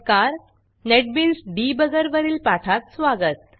NetBeans Debuggerनेटबिन्स debugger वरील पाठात स्वागत